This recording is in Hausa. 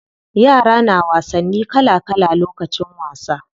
Yara na wasanni kala kala lokacin wasa.